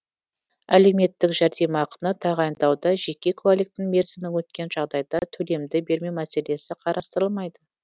әлеуметтік жәрдемақыны тағайындауда жеке куәліктің мерзімі өткен жағдайда төлемді бермеу мәселесі қарастырылмайды